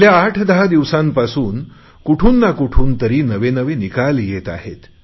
गेल्या आठदहा दिवसांपासून कुठून ना कुठून तरी नवे नवे निकाल येत आहे